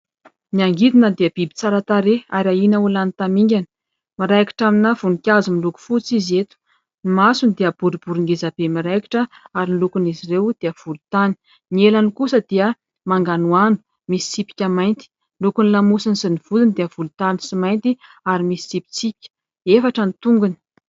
Ny angidina dia biby tsara tarehy ary ahiana ho lany tamingana. Miraikitra amina voninkazo miloko fotsy izy eto. Ny masony dia boribory ngeza be miraikitra ary ny lokon'izy ireo dia volontany. Ny elany kosa dia manganohano, misy tsipika mainty. Ny lokon'ny lamosiny sy ny vodiny dia volontany sy mainty ary misy tsipitsipika. Efatra ny tongony.